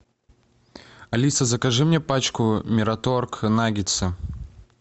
алиса закажи мне пачку мираторг наггетсы